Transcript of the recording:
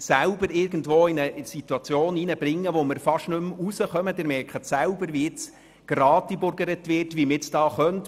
Wir manövrieren uns in eine Situation hinein, aus welcher wir fast nicht mehr hinausfinden.